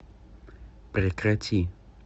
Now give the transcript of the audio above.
прекрати